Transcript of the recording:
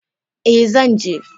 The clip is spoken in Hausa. e, zan je.